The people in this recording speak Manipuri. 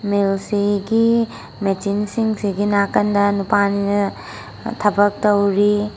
ꯃꯤꯜ ꯁꯤꯒꯤ ꯃꯦꯆꯤꯟ ꯁꯤꯡꯁꯤꯒꯤ ꯅꯥꯀꯟꯗ ꯅꯨꯄꯥ ꯑꯅꯤꯅ ꯊꯕꯛ ꯇꯧꯔꯤ꯫